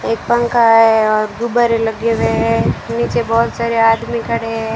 एक पंखा है और गुब्बारे लगे हुए हैं नीचे बहोत सारे आदमी खड़े हैं।